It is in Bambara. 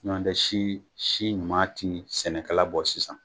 Ɲɔndɛ si si ɲuman ti sɛnɛkala bɔ sisan.